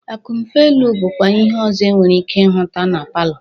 Akụmfe elu bụkwa ihe ọzọ e nwere ike ịhụta na palọ